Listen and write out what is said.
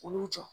Olu jɔ